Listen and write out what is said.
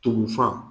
Tumu fa